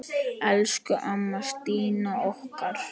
Elsku amma Stína okkar.